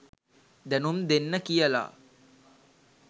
දැනුම් දෙන්න කියලා.